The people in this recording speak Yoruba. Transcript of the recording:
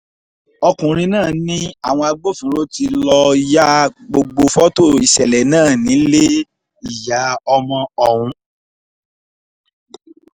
ọkùnrin náà ni àwọn agbófinró tí lọ́ọ́ ya gbogbo fọ́tò ìṣẹ̀lẹ̀ náà nílé ìyá ọmọ ọ̀hún